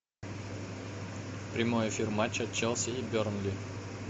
прямой эфир матча челси и бернли